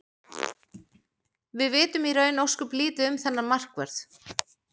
Við vitum í raun ósköp lítið um þennan markvörð.